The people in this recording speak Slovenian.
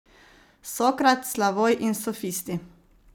Sokrat, Slavoj in sofisti.